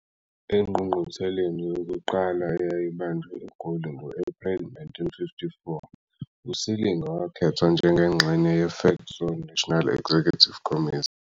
Engqungqutheleni yokuqala, eyayibanjelwe eGoli ngo-April 1954, uSilinga wakhethwa njengengxenye ye-FEDSAW National Executive Committee